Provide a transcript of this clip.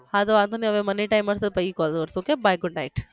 હા તે વાંધો નહિ હવે મનેય time મલશે તઈ કરશુ ok bye good night